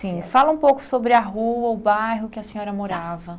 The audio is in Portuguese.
Sim, fala um pouco sobre a rua, o bairro que a senhora morava. Tá